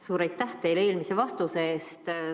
Suur aitäh teile eelmise vastuse eest!